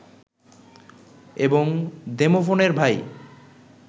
এবং দেমোফোনের ভাই